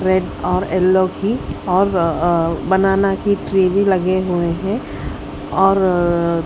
red और yellow की और बनाना की ट्री भी लगे हुए है और--